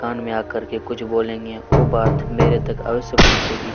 कान में आकर कुछ बोलेंगे ओ बात मेरे तक अवश्य पहुचेगी --